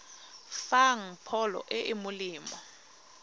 fang pholo e e molemo